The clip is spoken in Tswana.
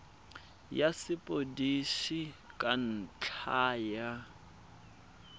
ya sepodisi ka ntlha ya